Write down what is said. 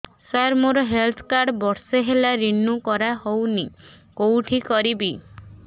ସାର ମୋର health card ବର୍ଷେ ହେଲା ରିନିଓ କରା ହଉନି କଉଠି କରିବି